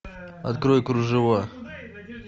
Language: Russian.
открой кружева